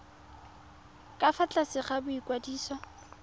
ka fa tlase ga boikwadiso